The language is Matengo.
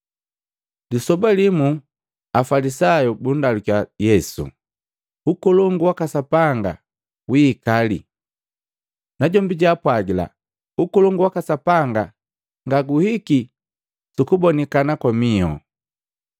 Lisoba limu Afalisayu bundalukiya Yesu, “Ukolongu waka Sapanga wiika lii?” Najombi jaapwagila, “Ukolongu waka Sapanga ngaguhiki sukubonikana kwa miho.